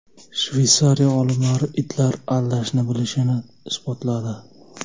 Shveysariya olimlari itlar aldashni bilishini isbotladi.